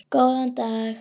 Góðan dag!